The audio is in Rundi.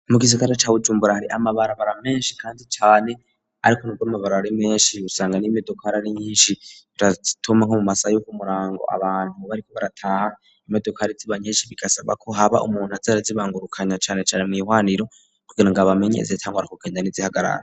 Mu gisigara ca Bujumbura hari amabarabara meshi kandi cane ariko nubwo amabarabara ari meshi usanga n'imodokari ari nyishi birazituma nko mu masaha yoku murango abantu bariko barataha imodokari ziba nyishi bigasaba ko haba umuntu aza arazibangurukanya cane cane mwihwaniro kugirango abamenyere izitangura kugenda n'izihagarara.